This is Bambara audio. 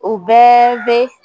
U bɛɛ bɛ